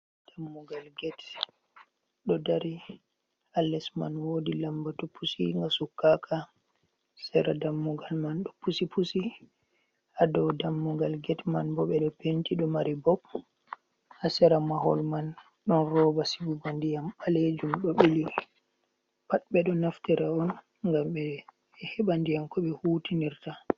Dammugal get ɗo dari ha les man wodi lambatu pusinga sukkaka, sera dammugal man ɗo pusi pusi ha dow dammugal get man bo ɓe ɗo penti, ɗo mari bob, ha sera mahol man ɗon roba sigugo ndiyam ɓalejum ɗo ɓili pat ɓe ɗo naftira on ngam ɓe heɓa ndiyam ko ɓe hutinirta.